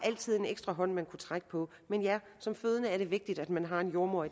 altid en ekstra hånd man kunne trække på men ja som fødende er det vigtigt at man har en jordemoder